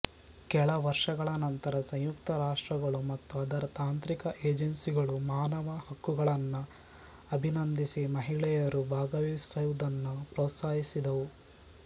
ಕೆಲವರ್ಷಗಳ ನಂತರ ಸಂಯುಕ್ತ ರಾಷ್ರಗಳು ಮತ್ತು ಅದರ ತಾಂತ್ರಿಕ ಏಜೆನ್ಸ್ಸಿಗಳು ಮಾನವ ಹಕ್ಕುಗಳನ್ನ ಅಬಿನಂಧಿಸಿ ಮಹಿಳೆಯರು ಭಾಗವಹಿಸುವುದನ್ನ ಪ್ರೋತ್ಸಾಹಿಸಿದವು